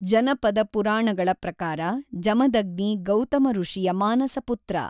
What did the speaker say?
ಜನಪದ ಪುರಾಣಗಳ ಪ್ರಕಾರ ಜಮದಗ್ನಿ ಗೌತಮಋಷಿಯ ಮಾನಸಪುತ್ರ.